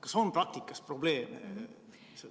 Kas on praktikas probleeme?